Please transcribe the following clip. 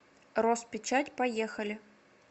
роспечать поехали